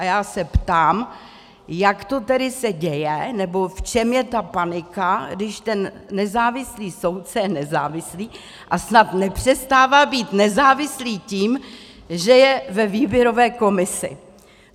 A já se ptám, jak to tedy se děje, nebo v čem je ta panika, když ten nezávislý soudce je nezávislý a snad nepřestává být nezávislý tím, že je ve výběrové komisi.